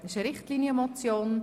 » Es ist eine Richtlinienmotion.